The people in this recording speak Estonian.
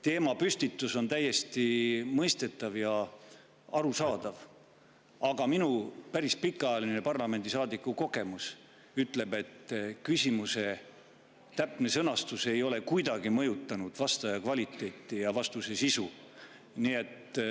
Teie teemapüstitus on täiesti mõistetav ja arusaadav, aga minu päris pikaajaline parlamendisaadiku kogemus ütleb, et küsimuse täpne sõnastus ei ole kuidagi mõjutanud vastaja vastuse kvaliteeti ja sisu.